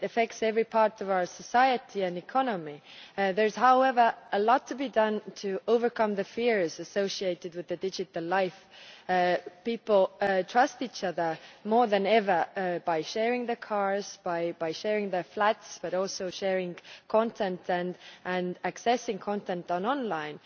It affects every part of our society and economy. There is, however, a lot to be done to overcome the fears associated with digital life. People trust each other more than ever, by sharing their cars, by sharing their flats, but also sharing content and accessing content online.